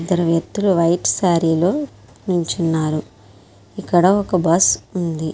ఇద్దరు వెక్తులు వైట్ శారీలో నుంచున్నారు. ఇక్కడ ఒక్క బస్సు ఉంది.